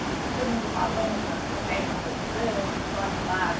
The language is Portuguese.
E todo mundo falando na biblioteca, conversando, o pessoal animado.